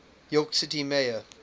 york city mayor